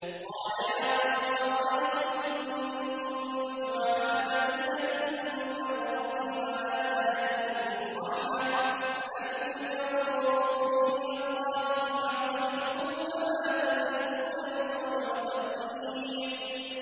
قَالَ يَا قَوْمِ أَرَأَيْتُمْ إِن كُنتُ عَلَىٰ بَيِّنَةٍ مِّن رَّبِّي وَآتَانِي مِنْهُ رَحْمَةً فَمَن يَنصُرُنِي مِنَ اللَّهِ إِنْ عَصَيْتُهُ ۖ فَمَا تَزِيدُونَنِي غَيْرَ تَخْسِيرٍ